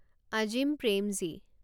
Azim Premji